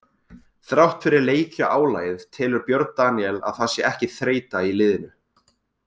Þrátt fyrir leikjaálagið telur Björn Daníel að það sé ekki þreyta í liðinu.